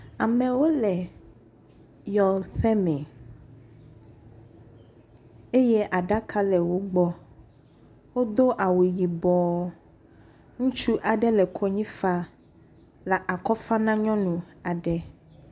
Amewo le yɔƒe me eye aɖake le wogbɔ. Wodo awu yibɔ ŋutsu aɖe le kponyi fam le akɔ fam ne nyɔnu aɖe.